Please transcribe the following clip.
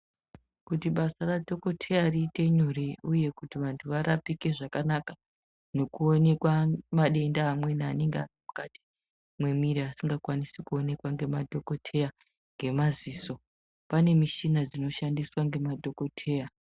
Kuti basa radhokoteya riite nyore uye kuti vantu varapike zvakanaka nokuonekwa madenda amweni anenge ari mukati memwiri asingakwanisi kuonekwa ngemadhokoteya ngemaziso pane mishina dzinoshandiswa ngemadhokoteya.